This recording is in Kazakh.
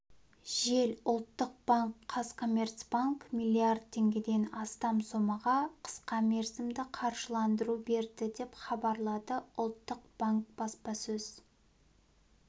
жел ұлттық банк қазкоммерцбанк миллиард теңгеден астам сомаға қысқамерзімді қаржыландыру берді деп хабарлады ұлттық банк баспасөз